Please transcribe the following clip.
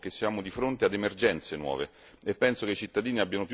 Abbiamo bisogno di strumenti nuovi perché siamo di fronte ad emergenze nuove.